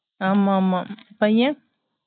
ஆமாமாம பையன்